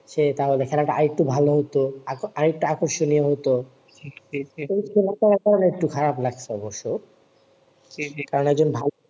সে তা হলে খেলাটা আরেকটু ভালো হত আরেকটু আকর্ষনীয় হত খারাপ লাগছে অবশ্য কারণ একজন ভালো